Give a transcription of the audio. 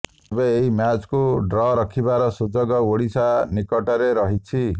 ତେବେ ଏହି ମ୍ୟାଚ୍କୁ ଡ୍ର ରଖିବାର ସୁଯୋଗ ଓଡ଼ିଶା ନିକଟରେ ରହିଛି